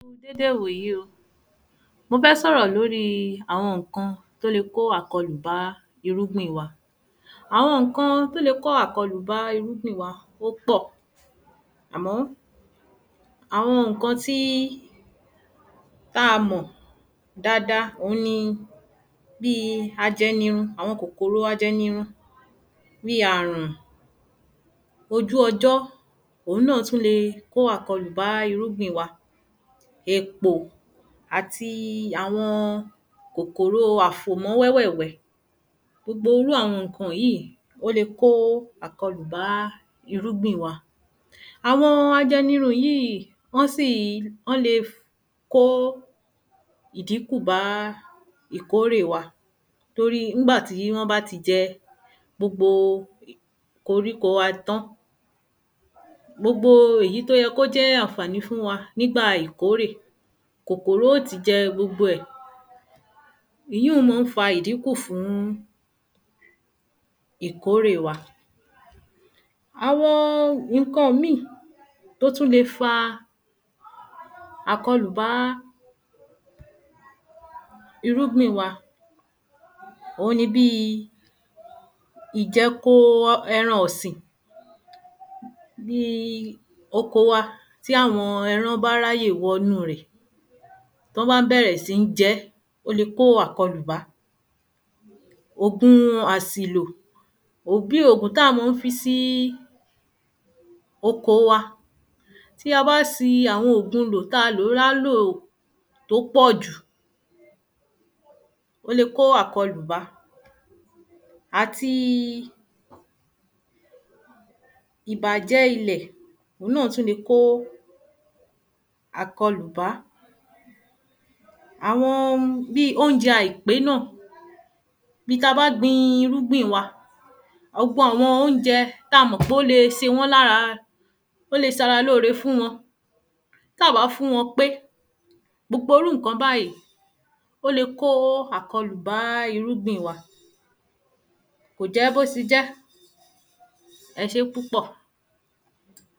Dédé 'wòyí o Mo fẹ́ s'ọ̀rọ̀ l'órí àwọn ǹkan t’ó le kó àkọlù bá irúgbìn wa Àwọn ǹkan t’ó le kó àkọlù bá irúgbìn wa ó pọ̀ àmọ́, àwọn ǹkan t’a mọ̀ dada òun ni bí i ajẹnirun àọn kòkòrò ajẹnirun bí i àrùn ojú ọjọ́ òun náà tún le ko àkọlù bá irúgbìn wa èpò àti awọn kòkòro afòmọ́ wẹ́ wẹ́ wẹ́ Gbobo irú àwọn ǹkan yí ó le kó àkọlù bá irúgbìn wa Àwọn ajẹnirun yí í, ọ́ ń le kó àkọlù bá ìdínkù bá ìkórè wa torí ń gbà tí wọ́n bá ti jẹ gbogbo koríko wa tán, gbogbo èyí t’ó yẹ k’ó jẹ ànfàní fún wa nígbà ìkórè kòkòro ó ti jẹ gbogbo ẹ̀. Ìyí un mọ́ ń fa ìdínkù fún ìkórè wa. Awọn ǹkan míì t’ó tú le fa ìkọlù bá irúgbìn wa òun ni bí i ìjẹ́ko eran ọ̀sìn bí i oko wa tí àwọn ẹran bá r'áyè wọ ‘nú rẹ̀ t’ọ́n bá ń bẹ̀rẹ̀ sí ń jẹ ẹ́, ó le kó bá. Ògun àsìlò bí ògùn t'á a mọ́ ń fi sí oko wa Tí a bá si ògun lò lò t’á a lò l’á lò t'ó pọ̀ jù ó le kó àkọlù bá àti ìbàjẹ́ ilẹ̀ òun náà tú le kó àkọlù bá Àwọn bí óunjẹ àìpé náà bi t’a bá gbin irúgbìn wa 'ọ́gbọ àwọn óunjẹ ta mọ̀ pé ó le se wọ́n l’ára ó lé s’ara l'ó ore fún wọn, t’á bá fún wọn pé gbogbo 'rú ǹkan báyí, ó le kó àkọlù bá irúgbìn wa Kò jẹ́ b'ó se jẹ́ Ẹ sé púpọ̀